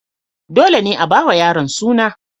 Dole ne a ba wa yaron suna.